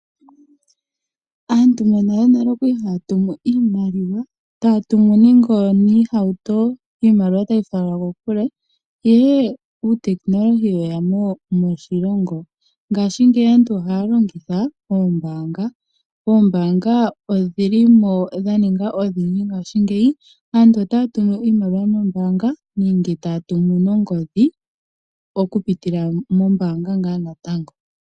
Aantu monalenale okwali haya tumu iimaliwa taya tumu nenge oniihauto iimaliwa tayi falelwa kokule ihe ehumokomeho lyeya mo moshilongo. Ngashingeyi aantu ohaya longitha oombaanga. Oombaanga odhili mo dha ninga odhindji ngashingeyi. Aantu otaya tumu iimaliwa noombaanga nenge taya tumu nongodhi okupitila mombaanga ngaa natango.